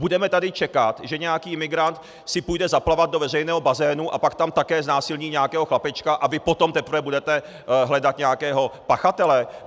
Budeme tady čekat, že nějaký migrant si půjde zaplavat do veřejného bazénu a pak tam také znásilní nějakého chlapečka, a vy potom teprve budete hledat nějakého pachatele?